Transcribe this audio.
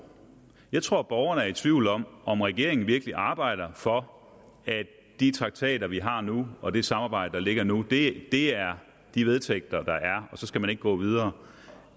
jeg tror at borgerne er i tvivl om om regeringen virkelig arbejder for at de traktater vi har nu og det samarbejde der ligger nu er de vedtægter der er og så skal man ikke gå videre